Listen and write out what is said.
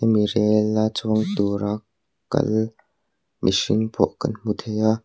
mi rel a chuang tur a kal mihring pawh kan hmu thei a.